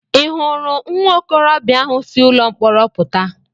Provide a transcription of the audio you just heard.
I hụrụ nwa okorobịa ahụ si ụlọ mkpọrọ pụta?